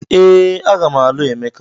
Ee, a ga m alụ Emeka.